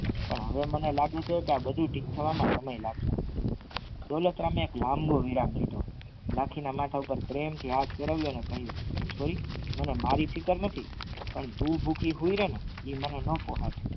પણ હવે મને લાગે છે કે બધુ ઠીક થવામાં સમય લાગશે દોલતરામ એક લાંબો વિરામ લીધો લખી ના પ્રેમથી હાથ ફેરવ્યો અને કહ્યું માને મારી ફિકર નથી પણ તું ભૂખી હુઈ રેને એ મને ન પોસાય